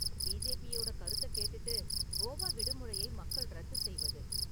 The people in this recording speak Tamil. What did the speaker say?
பிஜேபியோட கருத்தக் கேட்டுட்டு கோவா விடுமுறையை மக்கள் ரத்துசெய்வது